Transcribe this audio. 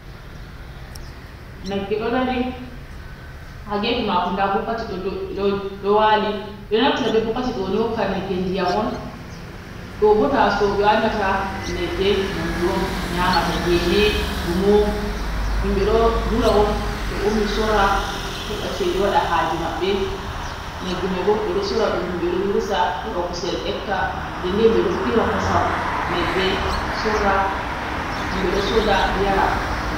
Nagge ɗo dari ha gefe mako nda bokiti ɗo dou ɗo ɗo wali, ɓe onaftira be bokiti on ɓe hokka nagge ndiyam on. ɗo bo taso'o ɓe wannata nagge nyamdu on nyamata gene, dumo. Himɓe ɗo dura on to ummi sorra heɓa ceede waɗa haaje maɓɓe. Nagge mai bo ɓe ɗo sorra ɗum himɓe ɗo hirsa heɓa kuusel ekka nden nden himɓe ɗo ɓiira kosam nagge sorra himɓe ɗo sooda yara.